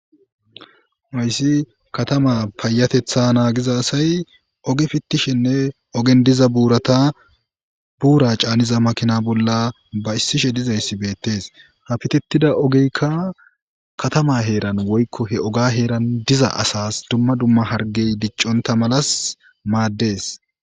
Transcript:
mayssi katama payatetha naagiza asay oge fittishinne ogen diza ratabuura caaniza makina bolla ba issishe dizayssi beettees ha fitettida ogeykka katama heeran woykko he oga heeran diza asas dumma dumma hargey dicconta malas maaddes